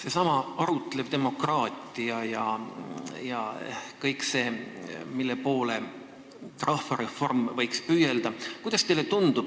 Seesama arutlev demokraatia ja kõik see, mille poole rahvareform võiks püüelda – kuidas teile tundub?